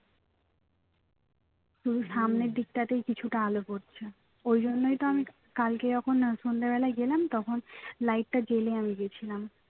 সামনের দিকটাতেই কিছুটা আলো পড়ছে ওই জন্যই তো আমি কালকে যখন সন্ধ্যাবেলায় গেলাম তখন light টা জ্বালিয়ে আমি গেছিলাম